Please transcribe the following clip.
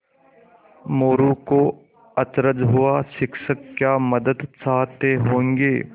मोरू को अचरज हुआ शिक्षक क्या मदद चाहते होंगे